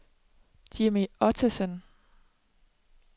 Jimmy Ottesen